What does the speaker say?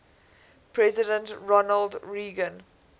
president ronald reagan